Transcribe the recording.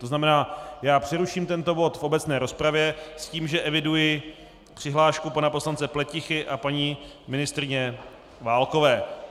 To znamená, já přeruším tento bod v obecné rozpravě s tím, že eviduji přihlášku pana poslance Pletichy a paní ministryně Válkové.